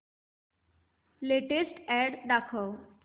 latest ad दाखव